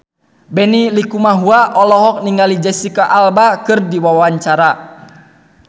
Benny Likumahua olohok ningali Jesicca Alba keur diwawancara